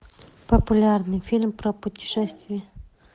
популярный фильм про путешествия